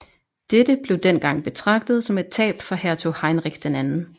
Dette blev dengang betragtet som et tab for hertug Heinrich II